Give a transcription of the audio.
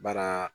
Baara